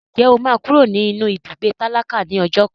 Ǹjẹ́ o máa kúrò nínú ibùgbé tálákà ní ọjọ́ kan?